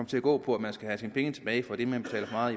til at gå på at man skal have sine penge tilbage for det man har